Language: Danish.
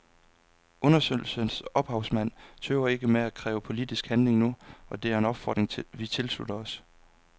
Undersøgelsens ophavsmænd tøver ikke med at kræve politisk handling nu, og det er en opfordring vi tilslutter os.